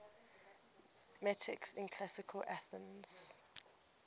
metics in classical athens